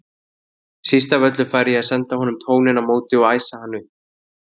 Síst af öllu færi ég að senda honum tóninn á móti og æsa hann upp.